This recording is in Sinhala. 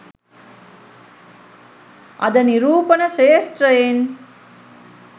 අද නිරූපණ ක්ෂේත්‍රයෙන්